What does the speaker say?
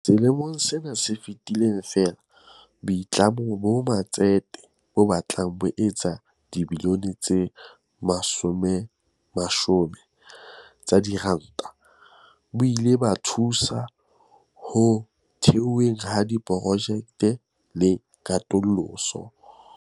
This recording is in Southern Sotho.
Selemong sena se fetileng feela, boitlamo ba matsete bo batlang bo etsa dibilione tse 120 tsa diranta bo ile ba thusa ho theweng ha diprojekte le katoloso.